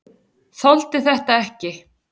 Þoldi þetta ekki!